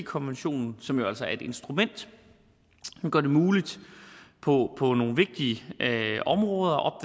konventionen som jo altså er et instrument som gør det muligt på på nogle vigtige områder